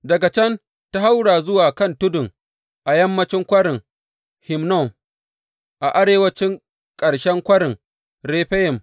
Daga can ta haura zuwa kan tudun a yammancin Kwarin Hinnom, a arewancin ƙarshen Kwarin Refayim.